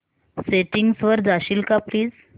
settings वर जाशील का प्लीज